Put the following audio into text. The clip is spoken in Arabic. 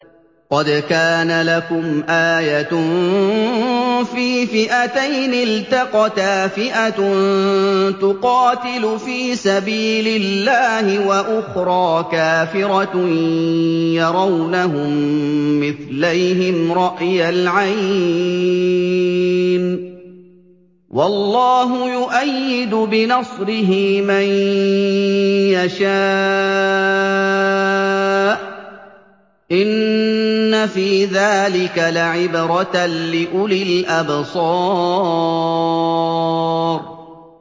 قَدْ كَانَ لَكُمْ آيَةٌ فِي فِئَتَيْنِ الْتَقَتَا ۖ فِئَةٌ تُقَاتِلُ فِي سَبِيلِ اللَّهِ وَأُخْرَىٰ كَافِرَةٌ يَرَوْنَهُم مِّثْلَيْهِمْ رَأْيَ الْعَيْنِ ۚ وَاللَّهُ يُؤَيِّدُ بِنَصْرِهِ مَن يَشَاءُ ۗ إِنَّ فِي ذَٰلِكَ لَعِبْرَةً لِّأُولِي الْأَبْصَارِ